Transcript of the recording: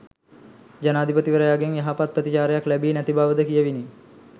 ජනාධිපතිවරයාගෙන් යහපත් ප්‍රතිචාරයක් ලැබී නැති බවද කියැවිණි